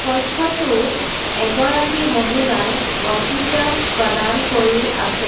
কক্ষটোত এগৰাকী মহিলাই বক্তৃতা প্ৰদান কৰি আছে।